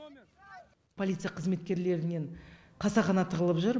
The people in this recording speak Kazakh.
полиция қызметкерлерінен қасақана тығылып жүр